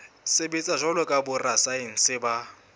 sebetsa jwalo ka borasaense ba